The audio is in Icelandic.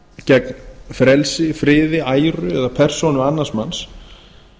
gegn frelsi friði æru eða persónu annars